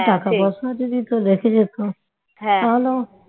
টাকা পয়সাও যদি তোর রেখে যেত তাহলেও